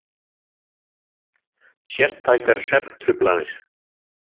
Sértækar svefntruflanir.